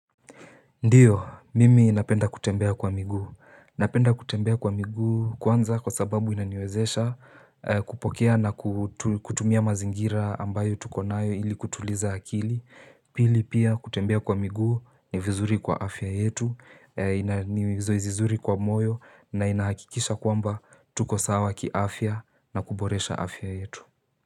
Ndio, mimi napenda kutembea kwa miguu. Napenda kutembea kwa miguu kwanza kwa sababu inaniwezesha kupokea na kutumia mazingira ambayo tukonayo ili kutuliza akili. Pili pia kutembea kwa miguu ni vizuri kwa afya yetu, ni vizuri kwa moyo na inahakikisha kwamba tuko sawa kiafya na kuboresha afya yetu.